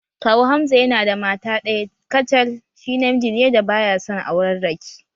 Kawu Hamza yana da mata ɗaya kacal, shi namiji ne da baya son aurarraki